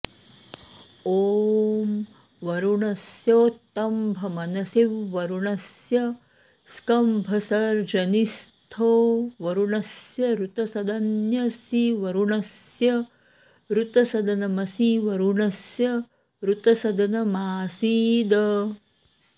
ओं वरुणस्योत्तम्भनमसि व्वरुणस्य स्कम्भसर्जनीस्थो वरुणस्य ऋतसदन्यसिवरुणस्य ऋतसदनमसि वरुणस्य ऋतसदनमासीद